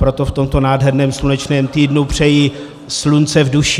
Proto v tomto nádherném slunečném týdnu přeji slunce v duši.